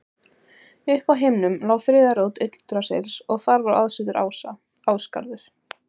Uppi á himnum lá þriðja rót Yggdrasils og þar var aðsetur ása, Ásgarður.